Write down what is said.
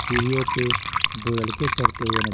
सीरियों पे दो लड़के चढ़ते हुए--